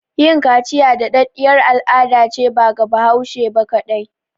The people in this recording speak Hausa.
Yin kaciya da ɗaɗɗiyar al'adace ba ga Hausawa ba kaɗai